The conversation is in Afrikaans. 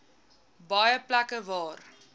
baie plekke waar